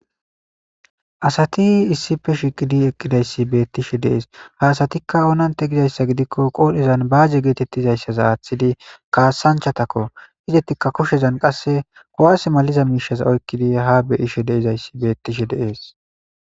asati issife shiqidi eqqidayssi beettishe dees ha asatikka oonante gidayssa gidikko qoodhezan baaje geetettizayssaza aaththidi kaasanchatakko izettikka kushezan qasse kowas maliza miishaza oykkidi ha beyishe deizayssi beettishe deees